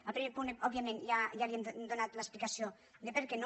al primer punt òbviament ja li hem donat l’explicació de per què no